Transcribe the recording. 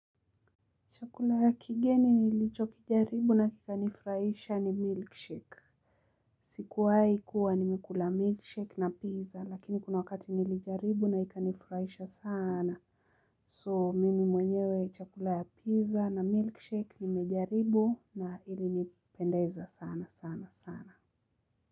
Chakula ya kigeni nilichokijaribu na kikanifurahisha ni milkshake. Sikuwai kuwa nimekula milkshake na pizza lakini kuna wakati nilijaribu na ikanifurahisha sana. So mimi mwenyewe chakula ya pizza na milkshake nimejaribu na ilinipendeza sana sana sana.